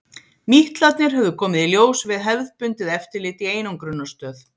Mítlarnir höfðu komið í ljós við hefðbundið eftirlit í einangrunarstöð.